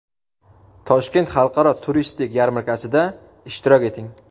Toshkent xalqaro turistik yarmarkasida ishtirok eting!.